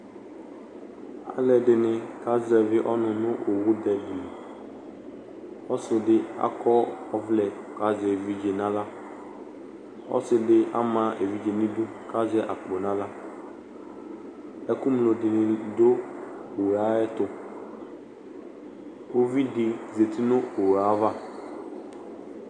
Alʋ ɛdini kazɛvi ɔnʋ nʋ owʋ dɛ di li Ɔsi di akɔ ɔvlɛ kʋ azɛ evidze n'aɣla Ɔsi di ama evidze ni du kʋ azɛ akpo n'aɣla Ɛkʋ ŋlo di ni dʋ owu yɛ ayɛtʋ Uvidi zati nʋ owu e ay'ava